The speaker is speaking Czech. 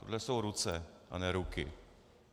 Tohle jsou ruce, a ne ruky.